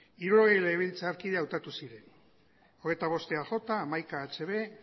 hirurogei legebiltzarkide hautatu ziren hogeita bost eaj hamaika hb